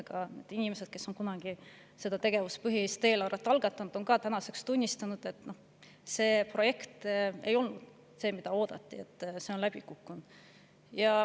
Ka need inimesed, kes kunagi selle tegevuspõhise eelarve algatasid, on tänaseks tunnistanud, et see projekt ei ole olnud see, mida oodati, ja see on läbi kukkunud.